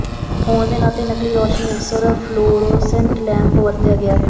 ਹੋਣ ਦੇ ਨਾਤੇ ਨਕਲੀ ਰੋਸ਼ਨੀ ਅਕਸਰ ਫਲੋਰੋਸੈੰਟ ਲੈੰਪ ਵਰਤਿਆ ਗਿਆ ਹੈ